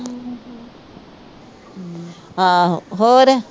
ਆਹੋ ਹੋਰ